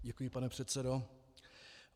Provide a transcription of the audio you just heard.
Děkuji, pane předsedo.